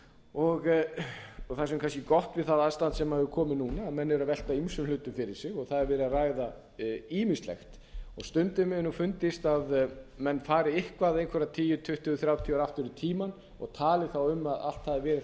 og það sem er kannski gott við það ástand sem er komið núna að menn eru að velta ýmsum flutt fyrir sér og það er verið að ræða ýmislegt stundum hefur mér fundist að menn fari eitthvað einhver tíunda tuttugu þrjátíu ár aftur í tímann og tali þá um að allt